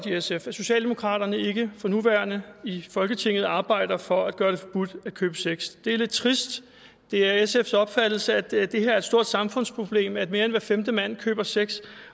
i sf at socialdemokraterne ikke for nuværende i folketinget arbejder for at gøre det forbudt at købe sex det er lidt trist det er sfs opfattelse at det er et stort samfundsproblem at mere end hver femte mand køber sex